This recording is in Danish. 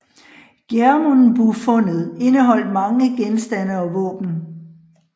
Gjermundbufundet indeholdt mange genstande og våben